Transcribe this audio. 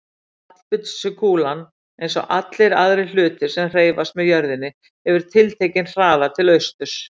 Fallbyssukúlan, eins og allir aðrir hlutir sem hreyfast með jörðinni, hefur tiltekinn hraða til austurs.